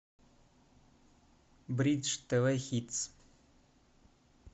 бридж тв хитс